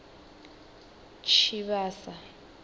tshivhasa